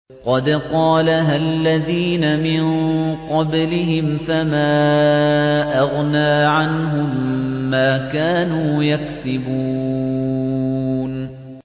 قَدْ قَالَهَا الَّذِينَ مِن قَبْلِهِمْ فَمَا أَغْنَىٰ عَنْهُم مَّا كَانُوا يَكْسِبُونَ